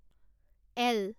L